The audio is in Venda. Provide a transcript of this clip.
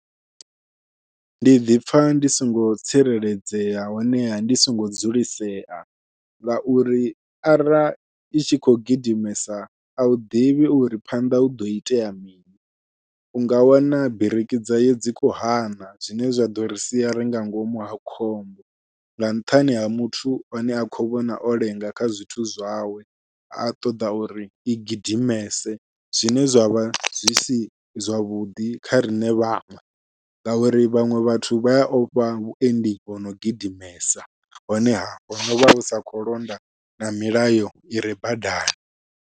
Ndi ḓipfha ndi songo tsireledzea honeha ndi songo dzulisea, ngauri ara i tshi khou gidimesa au ḓivhi uri phanḓa huḓo itea mini u nga wana biriki dzayo dzi kho hana zwine zwa ḓo ri sia ringa ngomu ha khombo nga nṱhani ha muthu ane a khou vhona o lenga kha zwithu zwawe a ṱoḓa uri i gidimese, zwine zwavha zwi si zwavhuḓi kha riṋe vhaṅwe ngauri vhaṅwe vhathu vha ya ofha vhuendi vhono gidimesa honeha ho novha hu sa khou londa na milayo ire badani.